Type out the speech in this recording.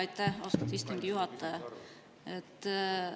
Aitäh, austatud istungi juhataja!